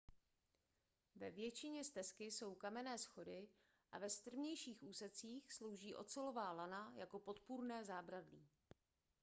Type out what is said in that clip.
ve většině stezky jsou kamenné schody a ve strmějších úsecích slouží ocelová lana jako podpůrné zábradlí